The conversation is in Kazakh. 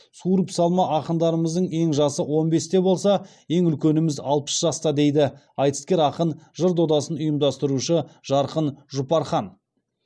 суырып салма ақындарымыздың ең жасы он бесте болса ең үлкеніміз алпыс жаста дейді айтыскер ақын жыр додасын ұйымдастырушы жарқын жұпархан